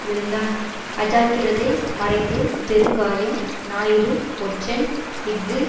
விழுந்தான் அஜாக்கிரதை மறைந்து பெருங்காயம் ஞாயிறு ஒற்றன் இஃது